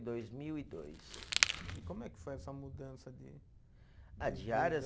Dois mil e dois. E como é que foi essa mudança de. Ah, de áreas?